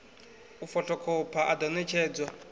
u fothokhopha a ḓo ṋetshedzwa